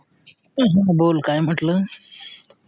बोल काय म्हटल